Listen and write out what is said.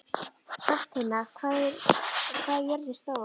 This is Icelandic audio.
Hrafntinna, hvað er jörðin stór?